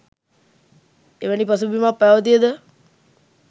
එවැනි පසුබිමක් පැවතිය ද